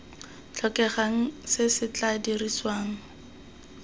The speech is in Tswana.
tlhokegang se se tla dirisiwang